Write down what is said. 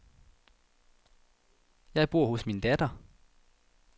Jeg bor hos min datter.